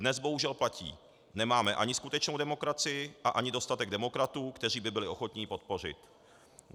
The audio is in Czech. Dnes bohužel platí - nemáme ani skutečnou demokracii a ani dostatek demokratů, kteří by byli ochotni ji podpořit.